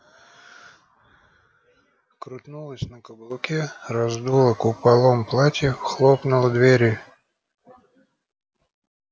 крутнулась на каблуке раздула куполом платье хлопнула дверью